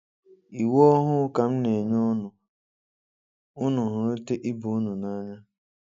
Íwú ọ̀hụ̀ ka m̀nényè únù: Ùnù hụ́ríta íbè-únù n'ǎnyá.